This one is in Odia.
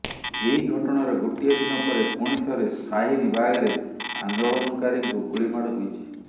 ଏହି ଘଟଣାର ଗୋଟିଏ ଦିନ ପରେ ପୁଣିଥରେ ଶାହୀନ ବାଗରେ ଆନ୍ଦୋଳନକାରୀଙ୍କୁ ଗୁଳିମାଡ଼ ହୋଇଛି